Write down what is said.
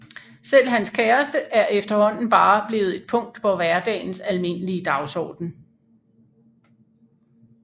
Selv hans kæreste er efterhånden bare blevet et punkt på hverdagens almindelige dagsorden